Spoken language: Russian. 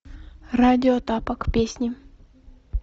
радио тапок песни